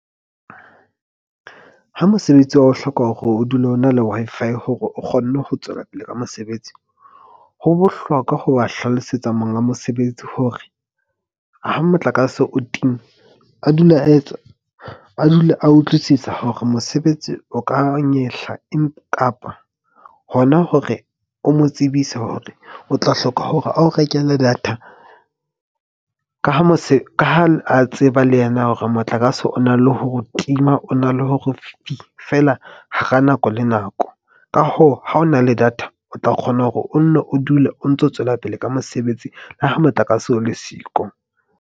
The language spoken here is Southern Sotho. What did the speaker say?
Ha mosebetsi wa o hloka hore o dule o na le Wi-Fi hore o kgone ho tswela pele ka mosebetsi. Ho bohlokwa ho ba hlalosetsa monga mosebetsi. Hore ha motlakase o timme a dule a etswa, a dule a utlwisisa hore mosebetsi o ka nyehla. Kapa hona hore o mo tsebise hore o tla hloka hore a o rekele data ka ha mose ka ha, ha a tseba le yena hore motlakase o na le ho tima, o na le hore fela hara nako le nako. Ka hoo, ha o na le data, o tla kgona hore o nne o dule o ntso tswela pele ka mosebetsi le ha motlakase o le siko.